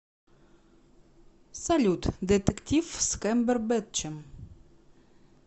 салют детектив с кэмбербетчем